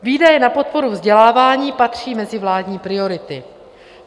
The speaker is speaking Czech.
Výdaje na podporu vzdělávání patří mezi vládní priority.